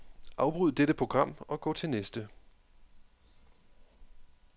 Afbryd dette program og gå til næste.